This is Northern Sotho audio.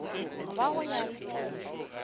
ba go ya le ka